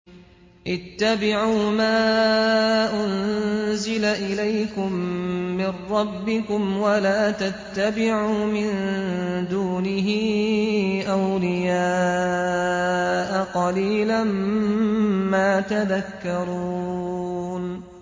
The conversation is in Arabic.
اتَّبِعُوا مَا أُنزِلَ إِلَيْكُم مِّن رَّبِّكُمْ وَلَا تَتَّبِعُوا مِن دُونِهِ أَوْلِيَاءَ ۗ قَلِيلًا مَّا تَذَكَّرُونَ